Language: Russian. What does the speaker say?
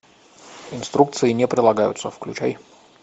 инструкции не прилагаются включай